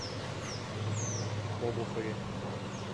обухове